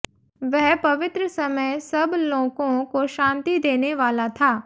वह पवित्र समय सब लोकों को शांति देनेवाला था